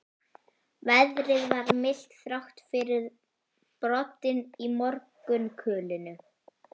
Veðrið var milt, þrátt fyrir broddinn í morgunkulinu.